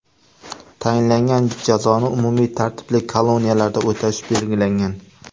Tayinlangan jazoni umumiy tartibli koloniyalarda o‘tash belgilangan.